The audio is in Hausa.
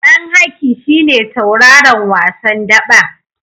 Ɗan Haki shi ne tauraron wasan daɓen.